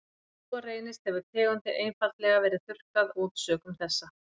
Ef svo reynist hefur tegundin einfaldlega verið þurrkað út sökum þessa.